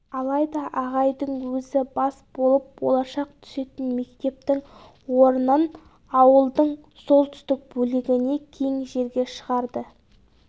алайда ағайдың өзі бас болып болашақ түсетін мектептің орнын ауылдың солтүстік бөлігіне кең жерге шығарды